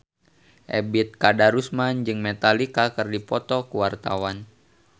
Ebet Kadarusman jeung Metallica keur dipoto ku wartawan